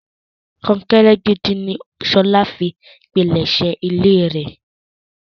Kọ́ńkẹ́rẹ́ gídí ni Ṣọlá fi pínlesé ilẹ̀rẹ̀.